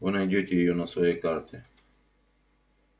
вы найдёте её на своей карте